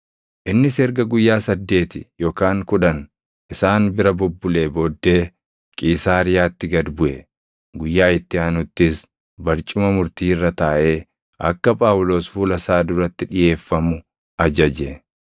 Innis erga guyyaa saddeeti yookaan kudhan isaan bira bubbulee booddee Qiisaariyaatti gad buʼe; guyyaa itti aanuttis barcuma murtii irra taaʼee akka Phaawulos fuula isaa duratti dhiʼeeffamu ajaje.